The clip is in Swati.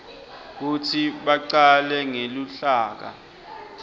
kutsi bacale ngeluhlaka